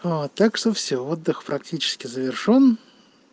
так что всё отдых практически завершён